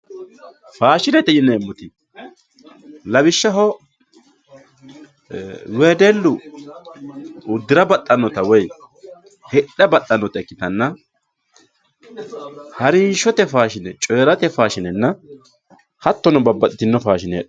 faashinete yinemotti lawishaho ee wedellu udirra baxanotta woyi hidha baxanotta ikitanna haarinshotte faashine coyiratte faashinenna hatono babaxitino faashine